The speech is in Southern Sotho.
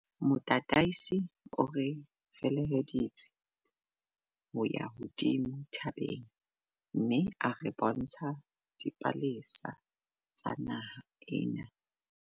Motataisi o re feleheditse ho ya hodimo thabeng mme a re bontsha dipalesa tsa naha ena.